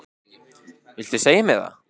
Viltu segja mér það?